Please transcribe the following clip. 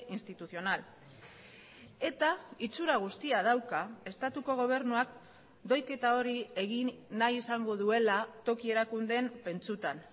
institucional eta itxura guztia dauka estatuko gobernuak doiketa hori egin nahi izango duela toki erakundeen pentsutan